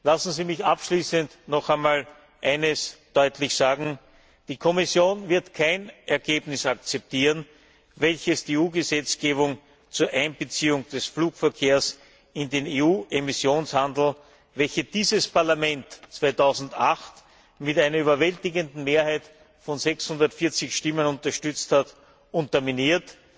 Lassen Sie mich abschließend noch einmal eines deutlich sagen Die Kommission wird kein Ergebnis akzeptieren, welches die EU Gesetzgebung zur Einbeziehung des Flugverkehrs in den EU Emissionshandel, welche dieses Parlament 2008 mit einer überwältigenden Mehrheit von 640 Stimmen unterstützt hat, unterminiert.